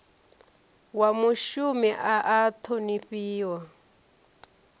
wa mushumi a a ṱhonifhiwa